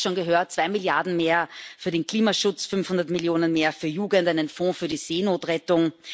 Wir haben es schon gehört zwei Milliarden EUR mehr für den Klimaschutz, 500 Millionen EUR mehr für Jugend, einen Fonds für die Seenotrettung.